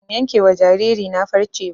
Ban yanke wa jariri na farce ba